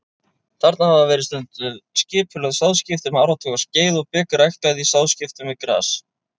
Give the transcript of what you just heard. Þarna hafa verið stunduð skipulögð sáðskipti um áratugaskeið og bygg ræktað í sáðskiptum við gras.